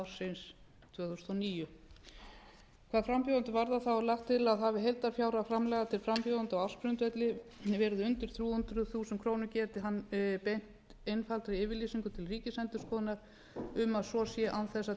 og níu hvað frambjóðendur varðar er lagt til að heildarfjárhæð framlaga til frambjóðenda á ársgrundvelli verði undir þrjú hundruð þúsund krónur geti hann beint einfaldri yfirlýsingu til ríkisendurskoðunar um að svo sé án þess að tilgreint